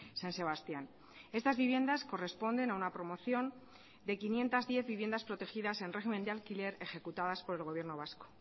san sebastián estas viviendas corresponden a una promoción de quinientos diez viviendas protegidas en régimen de alquiler ejecutadas por el gobierno vasco